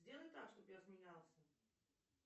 сделай так чтобы я смеялся